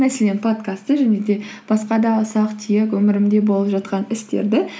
мәселен подкастты және де басқа да ұсақ түйек өмірімде болып жатқан істерді